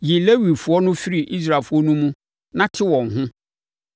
“Yi Lewifoɔ no firi Israelfoɔ no mu na te wɔn ho.